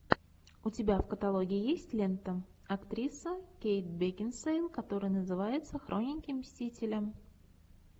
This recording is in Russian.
у тебя в каталоге есть лента актриса кейт бекинсейл которая называется хроники мстителя